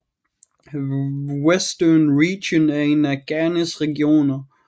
Western Region er en af Ghanas regioner